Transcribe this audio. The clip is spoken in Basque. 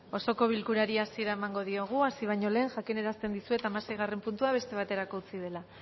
osoko bilkurari hasiera emango diogu hasi baino lehen jakinarazten dizuet hamaseigarrena puntua beste baterako utzi dela